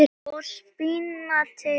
og spínati saman við.